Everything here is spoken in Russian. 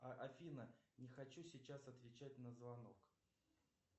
афина не хочу сейчас отвечать на звонок